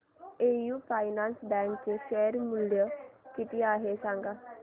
AU finance bank चे share मूल्य किती आहे सांगा